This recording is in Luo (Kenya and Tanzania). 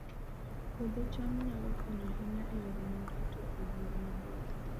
Puodho cham nyalo konyo ahinya e yore mag yuto e gwenge maboyo